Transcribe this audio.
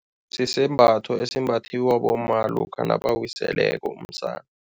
Sisembatho esimbathiwa bomma lokha nabawiseleko umsana.